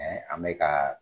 an be ka